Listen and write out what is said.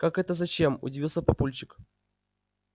как это зачем удивился папульчик